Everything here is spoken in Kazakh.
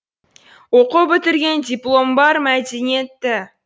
оқу бітірген дипломы бар мәдениетті